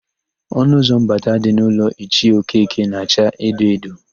Ọnụụzọ mbata dị n'ụlọ Ichie Okeke na-acha edo edo.